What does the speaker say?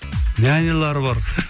нянялары бар